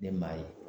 Ne maa ye